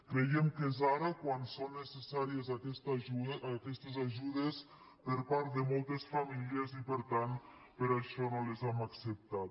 creiem que és ara quan són necessàries aquestes ajudes per part de moltes famílies i per tant per això no les hem acceptat